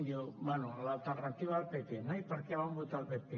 diu bé l’alternativa al pp no i per què van votar el pp